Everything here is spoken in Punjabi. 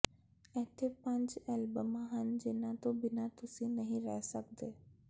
ਇੱਥੇ ਪੰਜ ਐਲਬਮਾਂ ਹਨ ਜਿਨ੍ਹਾਂ ਤੋਂ ਬਿਨਾਂ ਤੁਸੀਂ ਨਹੀਂ ਰਹਿ ਸਕਦੇ